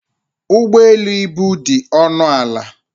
Ụgbọ elu ibu dị ọnụ ala.